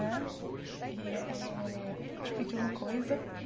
Né e eh Eu te pedi uma coisa.